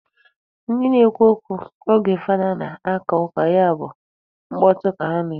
Ndị na-ekwu okwu oge fada na-aka ụka ya bụ mkpọtụ ka ha na-eme.